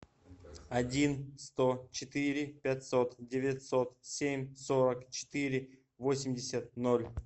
один сто четыре пятьсот девятьсот семь сорок четыре восемьдесят ноль